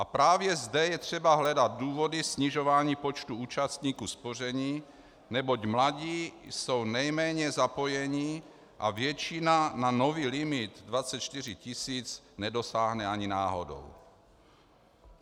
A právě zde je třeba hledat důvody snižování počtu účastníků spoření, neboť mladí jsou nejméně zapojeni a většina na nový limit 24 tisíc nedosáhne ani náhodou.